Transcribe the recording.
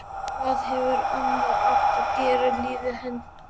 Hvað hefði annars átt að gefa lífi hennar gildi?